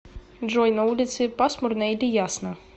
джой на улице пасмурно или ясно